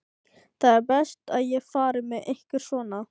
Það er best að ég fari með ykkur svona.